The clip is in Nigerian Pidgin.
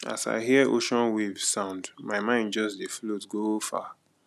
as i hear ocean wave sound my mind just dey float go far